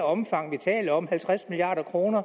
omfang vi taler om med halvtreds milliard kroner